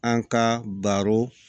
An ka baro